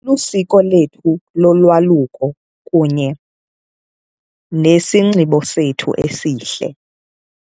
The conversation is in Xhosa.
Lusiko lethu lolwaluko kunye nesinxibo sethu esihle.